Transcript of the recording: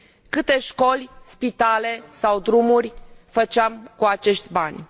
Câte școli, spitale sau drumuri făceam cu acești bani?